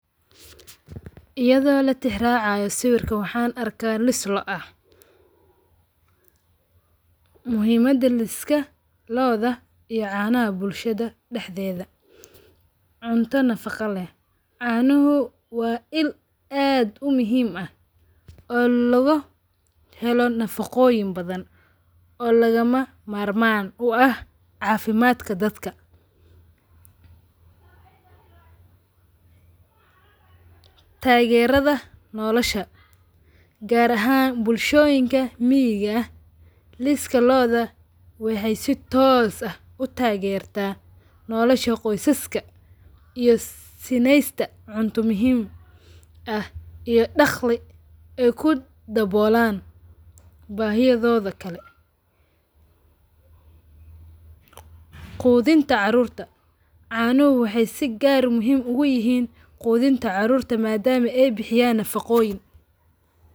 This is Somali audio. Iyadho latixi raacayo sawirka waxan arka liska lo`o aah. Muhiimada liska lo`odha iyo canaha bulshada daxdedha. Cunta nafaga leeh caanuhu waa iil aad u muhiim aah oo logo heelo nafagoyin badhan oo lagama marmaan uu aah cafimadka dadka. Tageradha noolasha gaar ahan bulshoyinka miyeqa aah liska lo`odha ah waxay si toos aah utagerta nolasha qoysaska iyo sinesta cunta muhiim aah iyo dagli aay kudawoolan bahiyoyodha kale qudhinta carorta canuhu waxay si gaar muhim u yihin qudhinta carurta madama ay bixiyan nafaqoyiin.